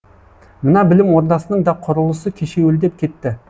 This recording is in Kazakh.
мына білім ордасының да құрылысы кешеуілдеп кетті